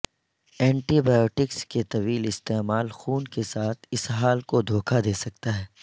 anti biotics کے طویل استعمال خون کے ساتھ اسہال کو دھوکہ دے سکتا ہے